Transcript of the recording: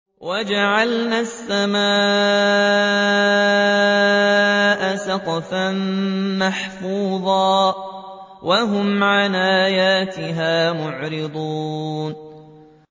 وَجَعَلْنَا السَّمَاءَ سَقْفًا مَّحْفُوظًا ۖ وَهُمْ عَنْ آيَاتِهَا مُعْرِضُونَ